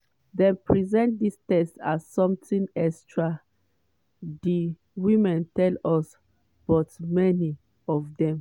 dem present dis tests as something extra di women tell us but many of dem